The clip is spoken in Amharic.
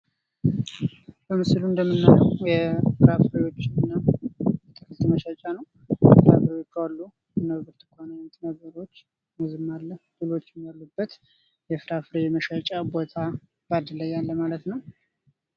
በምስሉ እንደምናየው የፍራፍሬዎች እና አትክልት መሸጫ ነው ፤ ፍራፍሬዎቹ አሉ እና ብርቱካን አይነት ነገሮች፣ ሙዝም አለ፣ ለሎችም አሉበት፣ የፍራፍሬ መሸጫ ቦታ ፤ ባንድላይ ያለ ማለት ነው።